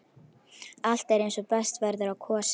Allt er eins og best verður á kosið.